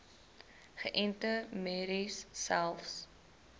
geënte merries selfs